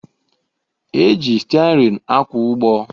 E ji stịarịn akwa ụgbọ